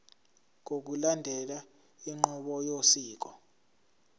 ngokulandela inqubo yosiko